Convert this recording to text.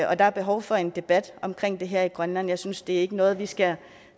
og der er behov for en debat om det her i grønland jeg synes ikke det er noget vi skal